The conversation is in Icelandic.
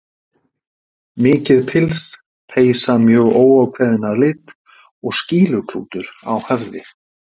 Mikið pils, peysa mjög óákveðin að lit og skýluklútur á höfði.